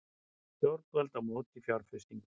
Stjórnvöld á móti fjárfestingu